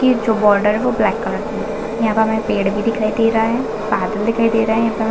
की जो बॉर्डर है वो ब्लैक कलर की है यहाँ पे हमें पेड़ भी दिखाई दे रहा है बादल दिखाई दे रहे हैं यहाँ पे।